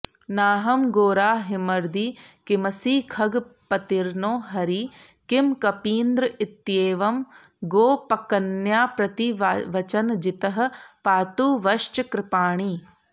नाहं घोराहिमर्दी किमसि खगपतिर्नो हरिः किं कपीन्द्रः इत्येवं गोपकन्याप्रतिवचनजितः पातु वश्चक्रपाणिः